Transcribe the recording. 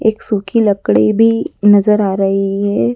एक सूखी लकड़ी भी नजर आ रही है।